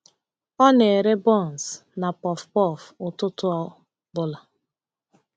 Ọ na-ere buns na puff-puff ụtụtụ ọ bụla.